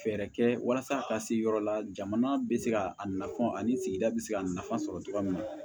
Fɛɛrɛ kɛ walasa a ka se yɔrɔ la jamana bɛ se ka a nafa ani sigida bɛ se ka nafa sɔrɔ cogoya min na